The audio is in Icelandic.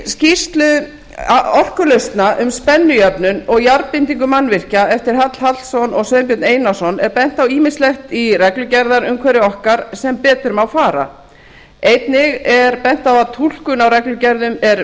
í skýrslu orkulausna um spennujöfnun og jarðbindingu mannvirkja eftir hall hallsson og sveinbjörn einarsson er bent á ýmislegt í reglugerðarumhverfi okkar sem betur má fara einnig er bent á að túlkun á reglugerðum er